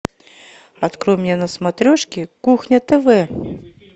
открой мне на смотрешке кухня тв